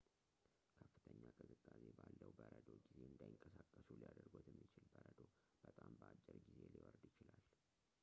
ከፍተኛ ቅዝቃዜ ባለው በረዶ ጊዜ እንዳይንቀሳቀሱ ሊያደርጎት የሚችል በረዶ በጣም በአጭር ጊዜ ሊወርድ ይችላል